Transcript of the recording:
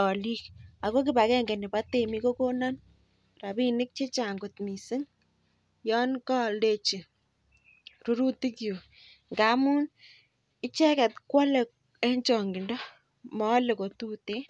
alikako kibagenge nebo temi8kokonan rabinik chechang kot missing Yoon kaaldechi rurutik chuk ngamuun icheket koale en chang'into maale kotuten